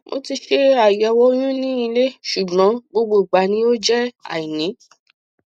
mo ti ṣe àyẹwò oyún ní ilé ṣùgbọn gbogbo ìgbà ni ó jẹ àìní